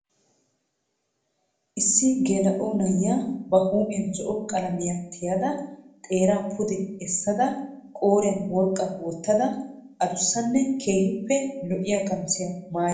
Issi geela"o na"iyaa ba huuphiya zo"o qalamiya tiyettada xeeraa pude essada qooriyan worqqaa wottada adussanne keehippe lo"iya qamisiya maayada eqqada haa xeellawus.